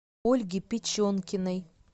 ольге печенкиной